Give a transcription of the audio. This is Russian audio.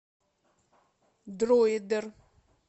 друидер